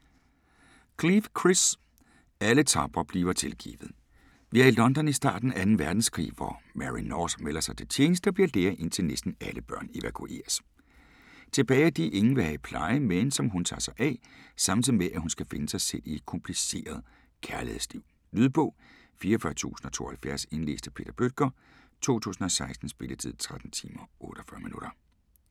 Cleave, Chris: Alle tapre bliver tilgivet Vi er i London i starten af 2. verdenskrig, hvor Mary North melder sig til tjeneste og bliver lærer indtil næsten alle børn evakueres. Tilbage er de, ingen vil have i pleje, men som hun tager sig af, samtidig med hun skal finde sig selv i et kompliceret kærlighedsliv. Lydbog 44072 Indlæst af Peter Bøttger, 2016. Spilletid: 13 timer, 48 minutter.